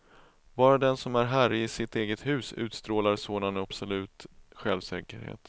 Bara den som är herre i sitt eget hus utstrålar sådan absolut självsäkerhet.